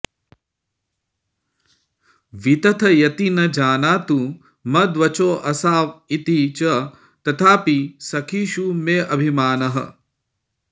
वितथयति न जानातु मद्वचोऽसाविति च तथापि सखीषु मेऽभिमानः